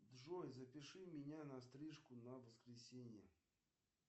джой запиши меня на стрижку на воскресенье